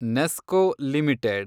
NESCO limited